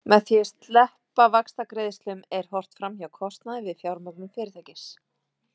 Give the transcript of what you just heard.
Með því að sleppa vaxtagreiðslum er horft fram hjá kostnaði við fjármögnun fyrirtækis.